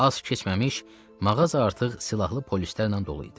Az keçməmiş mağaza artıq silahlı polislərlə dolu idi.